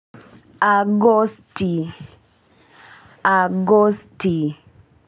Agosti Agosti.